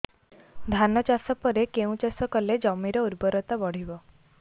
ଧାନ ଚାଷ ପରେ କେଉଁ ଚାଷ କଲେ ଜମିର ଉର୍ବରତା ବଢିବ